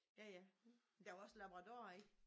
Ja ja den var også en labrador ik?